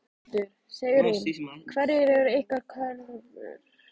Þórhildur: Sigrún, hverjar eru ykkar kröfur?